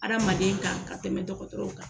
Adamaden kan ka tɛmɛ dɔgɔtɔrɔw kan.